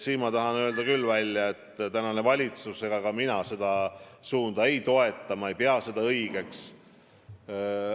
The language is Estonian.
Ma tahan kinnitada, et praegune valitsus ega ka mina seda suunda ei toeta, ma ei pea seda õigeks.